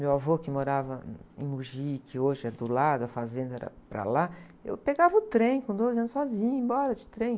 Meu avô, que morava em Mogi, que hoje é do lado, a fazenda era para lá, eu pegava o trem com doze anos sozinha, ia embora de trem.